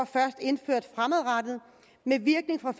først indført fremadrettet med virkning fra